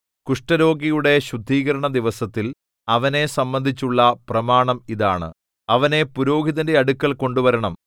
കുഷ്ഠരോഗിയുടെ ശുദ്ധീകരണദിവസത്തിൽ അവനെ സംബന്ധിച്ചുള്ള പ്രമാണം ഇതാണ് അവനെ പുരോഹിതന്റെ അടുക്കൽ കൊണ്ടുവരണം